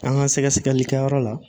An ka sɛgɛsɛlikɛyɔrɔ la